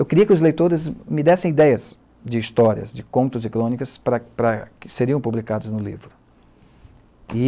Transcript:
Eu queria que os leitores me dessem ideias de histórias, de contos e crônicas para para, seriam publicados no livro. E